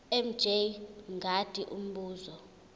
mj mngadi umbuzo